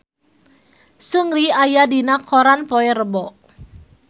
Seungri aya dina koran poe Rebo